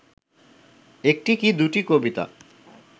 একটি কি দুটি কবিতা